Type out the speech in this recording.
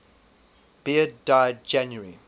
beard died january